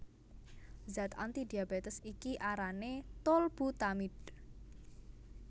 Zat antidiabetes iki arané tolbutamide